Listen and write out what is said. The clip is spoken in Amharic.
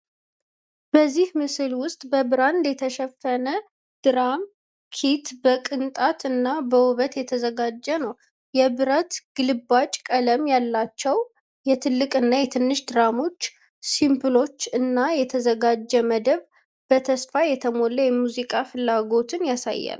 በዚህ ምስል ውስጥ በብራንድ የተሸፈነ የድራም ኪት በቅንጣት እና በውበት የተዘጋጀ ነው። የብረት ግልባጭ ቀለም ያላቸው የትልቅ እና የትንሽ ድራሞች፣ ሲምበሎች እና የተዘጋጀ መደብ በተስፋ የተሞላ የሙዚቃ ፍላጎትን ያሳያል።